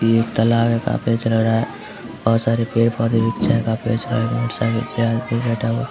ये एक तालाब है काफी अच्छा लग रहा है बहुत सारे पेड़-पोधे भी है काफी अच्छा लग रहा है साइड मे एक आदमी बेठा हुआ है।